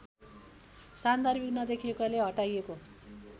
सान्दर्भिक नदेखिएकोले हटाइएको